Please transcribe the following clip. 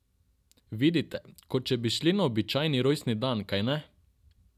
Vidite, kot če bi šli na običajni rojstni dan, kajne?